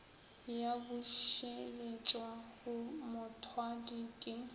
ya bušeletšwa go mothwadi ke